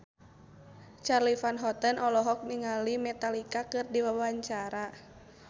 Charly Van Houten olohok ningali Metallica keur diwawancara